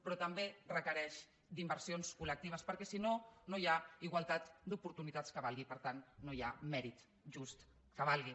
però també requereix inversions col·lectives perquè si no no hi ha igualtat d’oportunitats que valgui per tant no hi ha mèrit just que valgui